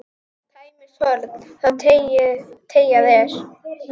Tæmist horn þá teygað er.